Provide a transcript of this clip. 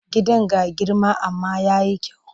Gidan ga girma amma ya yi kyau.